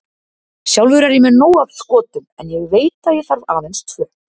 Sjálfur er ég með nóg af skotum en ég veit að ég þarf aðeins tvö.